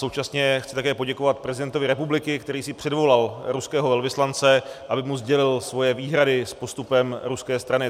Současně chci také poděkovat prezidentovi republiky, který si předvolal ruského velvyslance, aby mu sdělil svoje výhrady s postupem ruské strany.